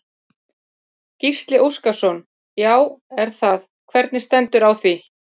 Gísli Óskarsson: Já er það, hvernig stendur á því?